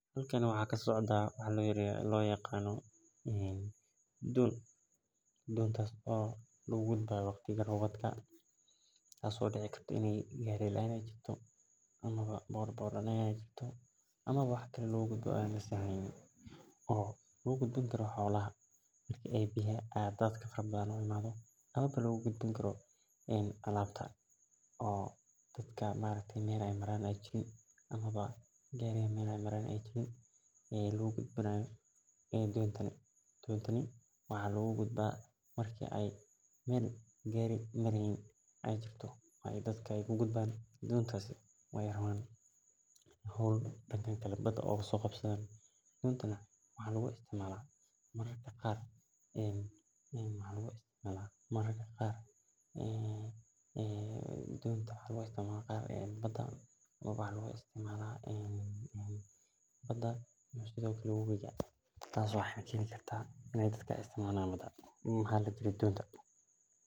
Halkani waxaa kasocda waxaa lo yaqano don dinta oo wax lagu qato dadka iyo xolaha amawa alabta marki gariyaha meel mareynin ee jirto hol be bada oga soqabtana maramka qar waxaa lagu isticmala tas oo xaqijini karta in ee muhiim utahay donta dadka daxdodha sas ayan umaleyni haya.